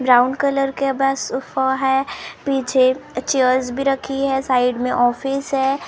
Brown colour के बस sofa है पीछे चेयर्स भी रखी हैं साइड मे ऑफिस है।